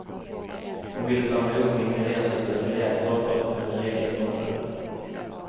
Hon ville samla ihop ingredienser till en rejäl soppa, som kunde räcka i månader.